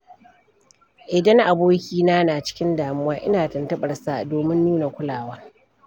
Idan abokina na cikin damuwa, ina tuntuɓarsa domin nuna kulawa.